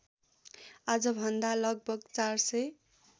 आजभन्दा लगभग ४००